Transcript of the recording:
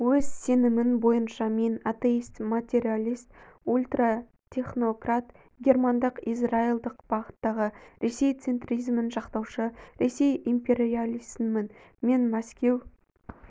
өз сенімін бойынша мен атеист материалист ультратехнократ германдық-израилдық бағыттағы ресей центризмін жақтаушы ресей империалистімін мен мәскеу